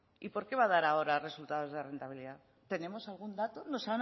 y por qué va a dar ahora resultados de rentabilidad tenemos algún dato